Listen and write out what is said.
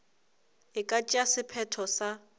e ka tšea sephetho sa